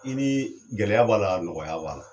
I ni gɛlɛya b'a la nɔgɔya b'a la.